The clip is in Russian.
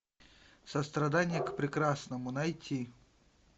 сострадание к прекрасному найти